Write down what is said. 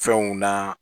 Fɛnw na